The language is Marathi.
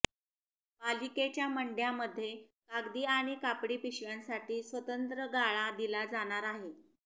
पालिकेच्या मंडयांमध्ये कागदी आणि कापडी पिशव्यांसाठी स्वतंत्र गाळा दिला जाणार आहे